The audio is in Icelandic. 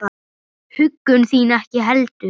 Huggun þín ekki heldur.